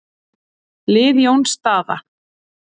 Lið Jóns Daða